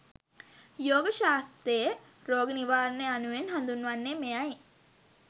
යෝග ශාස්ත්‍රයේ රෝග නිවාරණය යනුවෙන් හඳුන්වන්නේ මෙයයි.